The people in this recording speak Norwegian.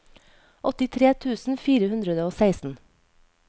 åttitre tusen fire hundre og seksten